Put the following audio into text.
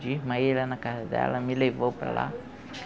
Desmaiei lá na casa dela, ela me levou para lá.